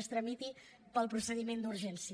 es tramités pel procediment d’urgència